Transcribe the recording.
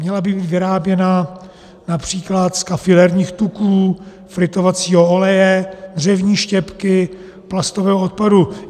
Měla by být vyráběna například z kafilerních tuků, fritovacího oleje, dřevní štěpky, plastového odpadu.